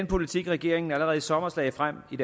politik regeringen allerede i sommer lagde frem i